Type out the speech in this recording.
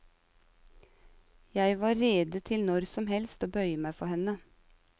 Jeg var rede til når som helst å bøye meg for henne.